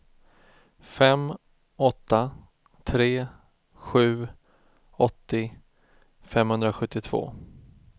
fem åtta tre sju åttio femhundrasjuttiotvå